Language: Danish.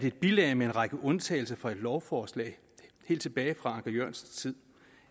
et bilag med en række undtagelser fra et lovforslag helt tilbage fra anker jørgensens tid